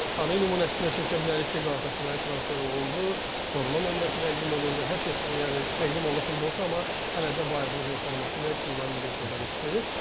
Bəli, Sani nümunəsində çəkə bilərik ki, Qalatasaraya transfer olundu, forma nömrəsi təqdim olundu, hər şey yəni təqdim olunan futbolçu, amma hələ də Bayern Münhen forması ilə klubların dünya çempionatında çıxış edir.